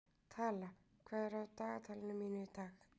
Tala, hvað er á dagatalinu mínu í dag?